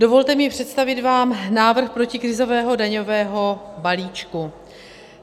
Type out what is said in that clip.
Dovolte mi představit vám návrh protikrizového daňového balíčku.